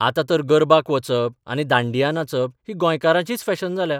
आतां तर गरबाक वचप आनी दांडिया नाचप ही गोंयकारांचीच फॅशन जाल्या.